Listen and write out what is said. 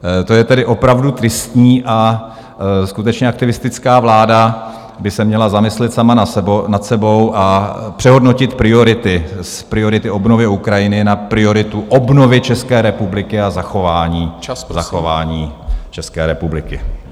To je tedy opravdu tristní a skutečně aktivistická vláda by se měla zamyslet sama nad sebou a přehodnotit priority - z priority obnovy Ukrajiny na prioritu obnovy České republiky a zachování České republiky.